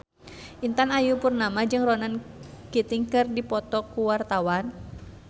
Intan Ayu Purnama jeung Ronan Keating keur dipoto ku wartawan